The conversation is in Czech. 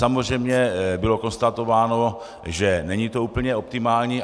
Samozřejmě bylo konstatováno, že není to úplně optimální.